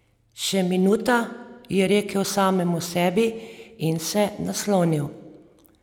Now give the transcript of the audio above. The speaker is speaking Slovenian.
Še minuta, je rekel samemu sebi in se naslonil.